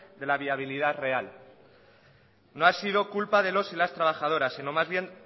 de la viabilidad real no ha sido culpa de los y las trabajadoras sino más bien